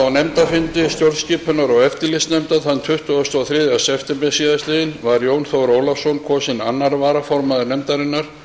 á nefndarfundi stjórnskipunar og eftirlitsnefndar þann tuttugasta og þriðja september síðastliðinn var jón þór ólafsson kosinn annar varaformaður nefndarinnar